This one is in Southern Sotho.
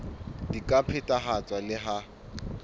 di ka phethahatswa le ha